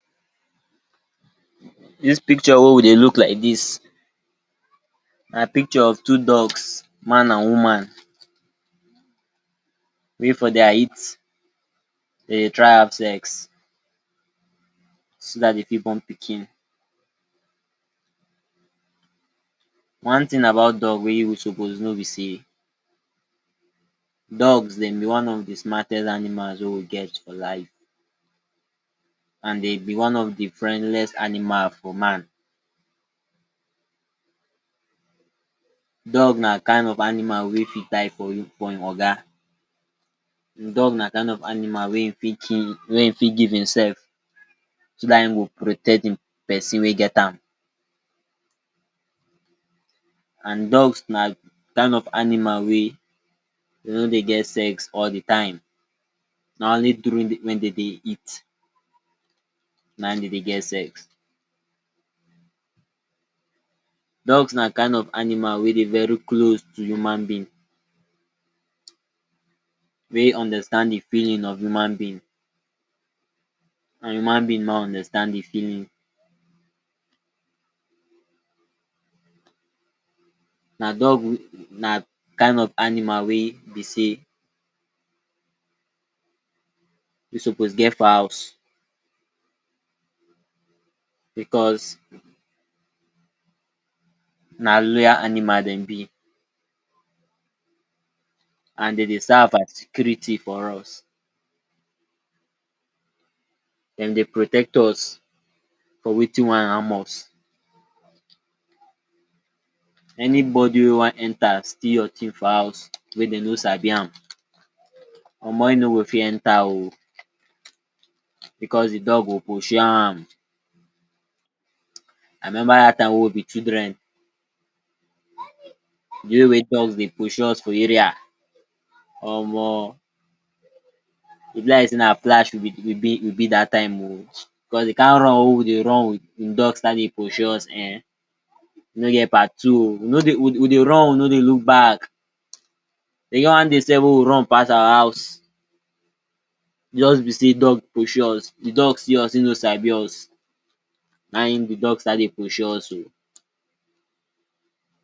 Dis picture wey we dey look like dis na picture of two dogs, man and woman, wey for dia heat dey dey try have sex so dat dey fit born pikin. One thing about dog wey you suppose know be sey dogs dem be one of de smartest animals wey we get for life, and dey be one of de friendliest animal for man. Dog na kain of animal wey fit die for you for im oga, dog na kain of animal wey im fit kill wey im fit give im sef so dat im go protect de pesin wey get am. And dogs na kain of animal wey dey no dey get sex all de time. Na only during when dey dey heat na im dey dey get sex. Dogs na kain of animal wey dey very close to human being, wey understand de feeling of human being, and human being ma understand im feeling. Na dog na kain of animal wey be sey you suppose get for house because na loyal animal dem be, and dey dey serve as security for us. Dem dey protect us for wetin wan harm us. Anybody wey wan enter steal your thing for house wey dem no sabi am, omo im no go fit enter o because de dog go pursue am. I remember dat time wey we be children, de way wey dogs dey pursue us for area omo, e be like sey na flash we be we be we be dat time o, because de kain run wey we dey run if dog start dey pursue us um e no get part two o. We no dey, we dey run we no dey look back. E get one day sef wey we run pass our house just be sey dog pursue us. De dog see us, im no sabi us, na im de dog start dey pursue us o.